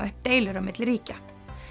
upp deilur á milli ríkja